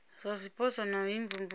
zwa zwipotso na u imvumvusa